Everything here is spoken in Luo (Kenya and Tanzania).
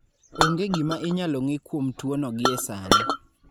Onge gima inyalo ng'e kuom tuwono gie sani.